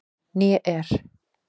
Né er